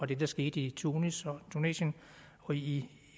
det der skete i tunis tunesien og i